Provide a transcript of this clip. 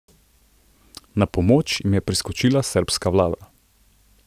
Na pomoč jim je priskočila srbska vlada.